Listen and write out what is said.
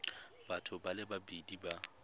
batho ba le babedi ba